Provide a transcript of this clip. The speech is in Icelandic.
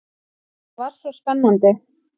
Það var svo spennandi.